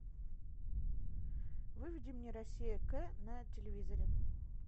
выведи мне россия к на телевизоре